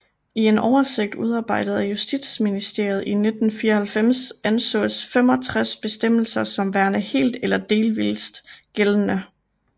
I en oversigt udarbejdet af Justitsministeriet i 1994 ansås 65 bestemmelser som værende helt eller delvist gældende